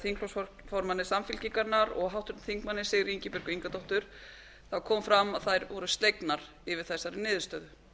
þingflokksformanni samfylkingarinnar og háttvirtur þingmaður sigríði ingibjörgu ingadóttur þá kom fram að þær voru slegnar yfir þessari niðurstöðu